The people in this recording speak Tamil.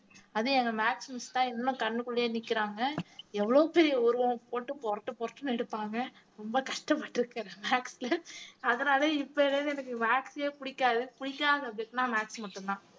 அதுவும் எங்க maths miss தான் இன்னும் கண்ணுக்குள்ளயே நிக்கிறாங்க எவ்ளோ பெரிய உருவம் போட்டு புரட்டு புரட்டுன்னு எடுப்பாங்க ரொம்ப கஷ்டப்பட்டுருக்கேன் maths ல அதனால எனக்கு maths ஏ பிடிக்காது பிடிக்காத subject ன்னா maths மட்டும்தான்